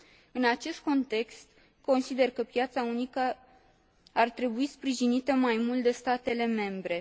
În acest context, consider că piața unică ar trebui sprijinită mai mult de statele membre.